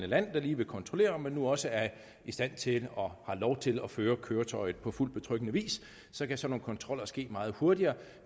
land der lige vil kontrollere om man nu også er i stand til og har lov til at føre køretøjet på fuldt betryggende vis så kan sådan nogle kontroller ske meget hurtigere